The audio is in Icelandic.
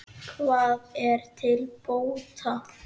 Hvað er til bóta?